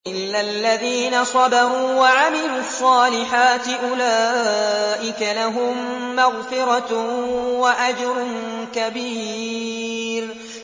إِلَّا الَّذِينَ صَبَرُوا وَعَمِلُوا الصَّالِحَاتِ أُولَٰئِكَ لَهُم مَّغْفِرَةٌ وَأَجْرٌ كَبِيرٌ